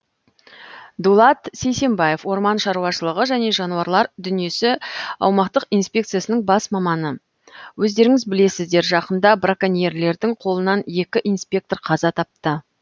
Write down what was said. дулат сейсенбаев орман шаруашылығы және жануарлар дүниесі аумақтық инспекциясының бас маманы өздеріңіз білесіздер жақында браконьерлердің қолынан екі инспектор қаза тапты